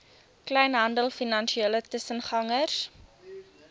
kleinhandel finansiële tussengangers